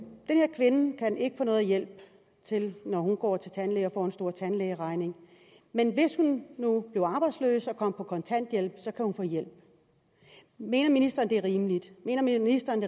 her kvinde kan ikke få noget hjælp når hun går til tandlægen og får en stor tandlægeregning men hvis hun nu bliver arbejdsløs og kommer på kontanthjælp kan hun få hjælp mener ministeren at det er rimeligt mener ministeren